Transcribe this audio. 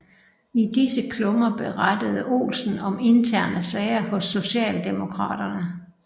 I disse klummer berettede Olsen om interne sager hos Socialdemokraterne